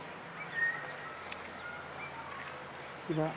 কিবা